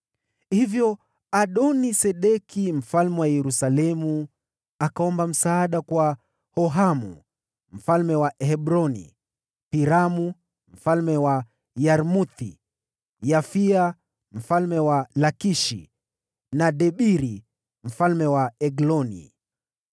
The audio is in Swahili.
Hivyo Adoni-Sedeki mfalme wa Yerusalemu akaomba msaada kwa Hohamu mfalme wa Hebroni, Piramu mfalme wa Yarmuthi, Yafia mfalme wa Lakishi, na Debiri mfalme wa Egloni.